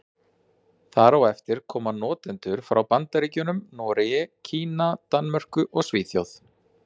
Þar á eftir koma notendur frá Bandaríkjunum, Noregi, Kína, Danmörku og Svíþjóð.